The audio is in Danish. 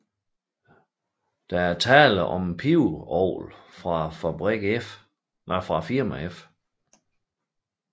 Der er tale om et pibeorgel fra firmaet F